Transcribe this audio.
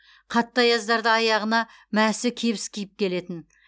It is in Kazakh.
қатты аяздарда аяғына мәсі кебіс киіп келетін